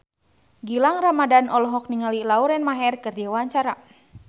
Gilang Ramadan olohok ningali Lauren Maher keur diwawancara